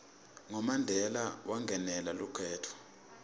ngo mandela wangenela lukhetfo